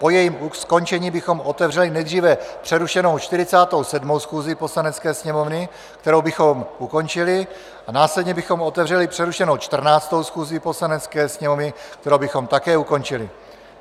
Po jejím skončení bychom otevřeli nejdříve přerušenou 47. schůzi Poslanecké sněmovny, kterou bychom ukončili, a následně bychom otevřeli přerušenou 14. schůzi Poslanecké sněmovny, kterou bychom také ukončili.